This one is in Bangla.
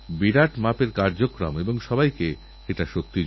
ভারতের বেশ কিছু রেলস্টেশন থেকে ইদানিং আমি এইরকম খবর পাচ্ছি